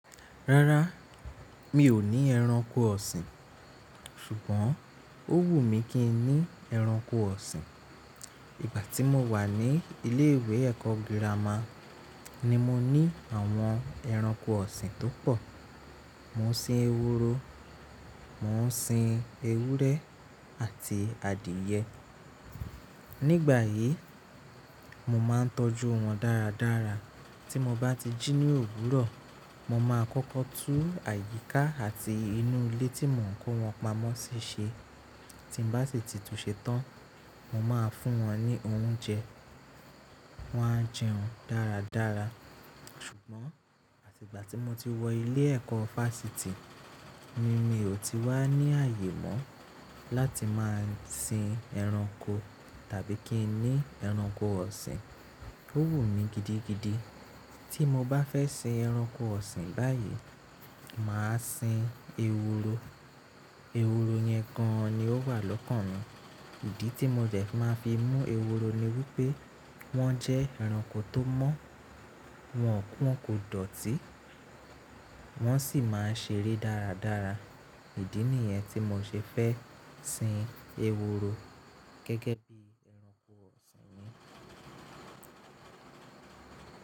Rárá, mi ò ní ẹranko ọ̀sìn, ṣùgbọ́n ó wù mí kí n ní ẹranko ọ̀sìn. Ìgbà tí mo wà ní ilé ìwé ẹ̀kọ́ gírámà ní mo ní àwọn ẹranko ọ̀sìn tó pọ̀. Mo ń sin eworo, mo ń sin ewúrẹ́ àti adìẹ. Nígbàyi, mo máa ń tọ́jú wọn dáradára. Tí mo bá ti jí ní òwúrọ̀, mo máa kọ́kọ́ tú àyíká àti inú ilé tí mò ń kó wọn pamọ́ ṣíṣe. Tí mo bá sì titun ṣetán, mo máa fún wọn ní oúnjẹ. Wọn á jẹun dáradára. Ṣùgbọ́n àti ìgbà tí mo ti wọ ilé ẹ̀kọ́ fásiti ni mi ò ti wá ní àyè mó láti máa sin ẹranko tàbí kí n ní ẹranko ọ̀sìn. Ó wù mí gidigidi. Tí mo bá fẹ́ sin ẹranko ọ̀sìn báyìí, mà á sin eworo. Eworo yẹn gan an ni ó wà lọ́kàn mi. Ìdí tí mo bẹ̀ máa fi mú ewuro ni wípé wọ́n jẹ́ ẹranko tó mọ́, wọn kò dọ̀tí, wọ́n sì máa ń ṣeré dáradára. Ìdí nìyẹn tí mo ṣe fẹ́ sin ewuro gẹ́gẹ́ bí ẹranko ọ̀sìn mi.